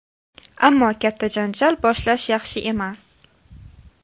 Ammo katta janjal boshlash yaxshi emas.